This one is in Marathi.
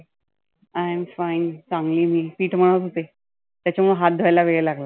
I am fine चांगली आहे मी. पिठ मळत होते. त्याच्यामुळ हात धुवायला वेळ लागला.